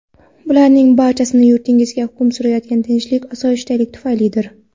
Bularning barchasi yurtingizda hukm surayotgan tinchlik-osoyishtalik tufaylidir.